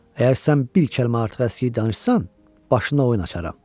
Əgər sən bir kəlmə artıq əskiyə danışsan, başına oyun açaram.